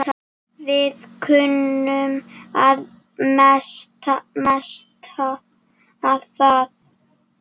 Við kunnum að meta það.